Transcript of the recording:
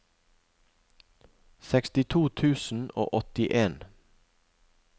sekstito tusen og åttien